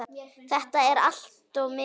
Þetta er allt of mikið!